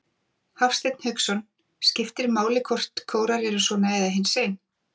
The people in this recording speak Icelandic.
Hafsteinn Hauksson: Skiptir máli hvort kórar eru svona eða hinsegin?